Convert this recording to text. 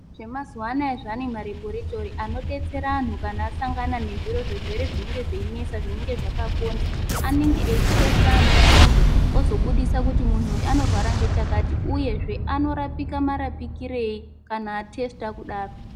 Zvemazuvana zvane malebhoritori anodetsera anhu kana asangana nezvirwere zvinenge zveinesa zvinenge zvakakonza anenge eitesita anhu imwomwo ozobudisa munhu anorwara ngechakati uyezve anorapika marapikirei kana atesita kudaro.